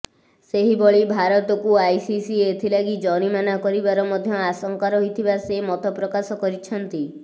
ସେହିଭଳି ଭାରତକୁ ଆଇସିସି ଏଥିଲାଗି ଜରିମାନା କରିବାର ମଧ୍ୟ ଆଶଙ୍କା ରହିଥିବା ସେ ମତ ପ୍ରକାଶ କରିଛନ୍ତି